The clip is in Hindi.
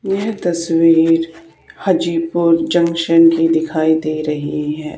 यह तस्वीर हाजीपुर जंक्शन की दिखाई दे रही है।